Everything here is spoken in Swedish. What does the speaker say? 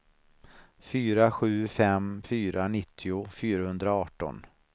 fyra sju fem fyra nittio fyrahundraarton